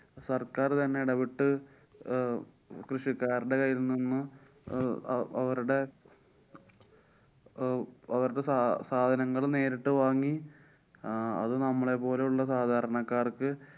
സര്‍ക്കാര്‍ തന്നെ ഇടപെട്ടു അഹ് കൃഷിക്കാരുടെ കയ്യില്‍ നിന്നും അഹ് അവരുടെ അഹ് അവരുടെ സാ~ സാധനങ്ങള്‍ നേരിട്ട് വാങ്ങി ആഹ് അത് നമ്മളെ പോലുള്ള സാധാരണക്കാര്‍ക്ക്